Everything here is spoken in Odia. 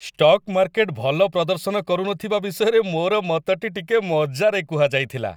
ଷ୍ଟକ୍ ମାର୍କେଟ ଭଲ ପ୍ରଦର୍ଶନ କରୁନଥିବା ବିଷୟରେ ମୋର ମତଟି ଟିକେ ମଜାରେ କୁହାଯାଇଥିଲା।